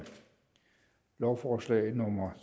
lovforslag nummer